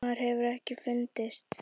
Maðurinn hefur ekki fundist.